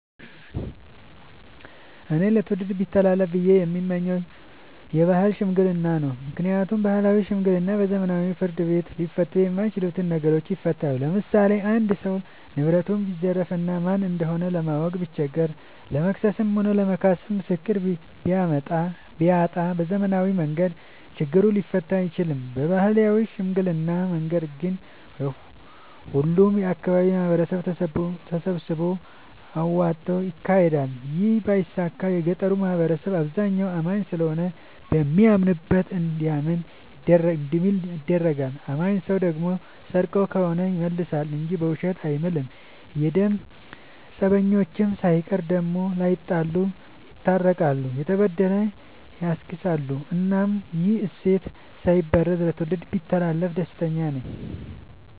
እኔ ለትውልድ ቢተላለፍ ብዬ የምመኘው የባህል ሽምግልና ነው። ምክንያቱም ባህላዊ ሽምግልና በዘመናዊ ፍርድ ቤት ሊፈቱ የማይችሉ ነገሮችን ይፈታል። ለምሳሌ አንድ ሰው ንብረቱን ቢዘረፍ እና ማን እንደሆነ ለማወቅ ቢቸገር ለመክሰስም ለመካስም ምስክር ቢያጣ በዘመናዊ መንገድ ችግሩ ሊፈታ አይችልም። በባህላዊ ሽምግልና መንገድ ግን ሁሉም የአካባቢው ማህበረሰብ ተሰብስቦ አውጣጭ ይካሄዳል ይህ ባይሳካ የገጠሩ ማህበረሰብ አብዛኛው አማኝ ስለሆነ በሚያምንበት እንዲምል ይደረጋል። አማኝ ሰው ደግሞ ሰርቆ ከሆነ ይመልሳ እንጂ በውሸት አይምልም። የደም ፀበኞችን ሳይቀር ዳግም ላይጣሉ ይስታርቃል፤ የተበደለ ያስክሳል እናም ይህ እሴት ሳይበረዝ ለትውልድ ቢተላለፍ ደስተኛ ነኝ።